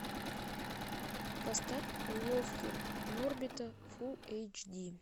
поставь уловки норбита фулл эйч ди